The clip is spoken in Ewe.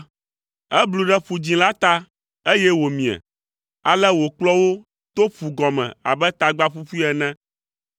Eblu ɖe Ƒu Dzĩ la ta, eye wòmie; ale wòkplɔ wo to ƒugɔme abe tagba ƒuƒui ene.